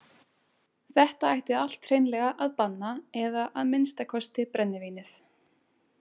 Þetta ætti allt hreinlega að banna eða að minnsta kosti brennivínið.